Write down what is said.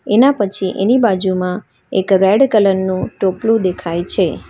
એના પછી એની બાજુમાં એક રેડ કલર નું ટોપલુ દેખાય છે.